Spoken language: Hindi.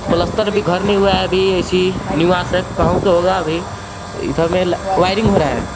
प्लास्टर भी घर नहीं हुआ है अभी ऐसी निवास होगा अभी इधर में वायरिंग हो रहा है.